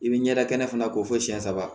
I bɛ ɲɛda kɛnɛ fana ko fo siyɛn saba